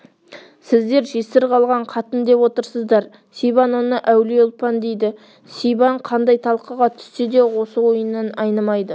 сіздер жесір қалған қатын деп отырсыздар сибан оны әулие ұлпан дейді сибан қандай талқыға түссе де осы ойынан айнымайды